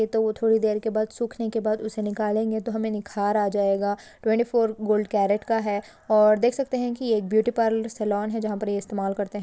थोड़ी देर के बाद सूखने के बाद उसे निकलेंगे तो हमे निखार आ जाएगा ट्वेन्टी फोर कैरट गोल्ड का है और देख सकते है की ब्यूटी पार्लर सलोन है जहा पर ये इस्तेमाल करते है।